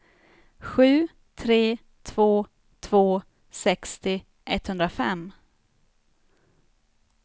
sju tre två två sextio etthundrafem